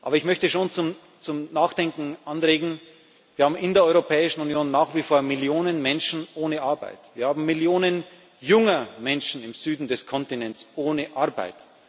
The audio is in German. Aber ich möchte auch zum Nachdenken anregen Wir haben in der Europäischen Union nach wie vor Millionen Menschen ohne Arbeit, wir haben Millionen junger Menschen im Süden des Kontinents ohne